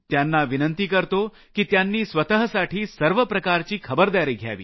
त्यांना विनंती करतो की त्यांनी स्वतःसाठी सर्व प्रकारची खबरदारी घ्यावी